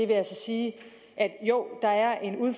at